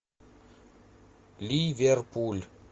ливерпуль